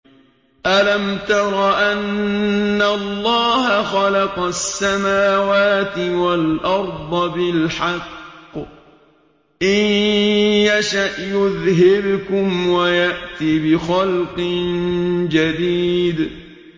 أَلَمْ تَرَ أَنَّ اللَّهَ خَلَقَ السَّمَاوَاتِ وَالْأَرْضَ بِالْحَقِّ ۚ إِن يَشَأْ يُذْهِبْكُمْ وَيَأْتِ بِخَلْقٍ جَدِيدٍ